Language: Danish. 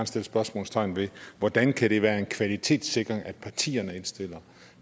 sætte spørgsmålstegn ved hvordan kan det være en kvalitetssikring at partierne indstiller